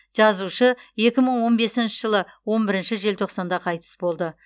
жазушы екі мың он бесінші жылы он бірінші желтоқсанда қайтыс болды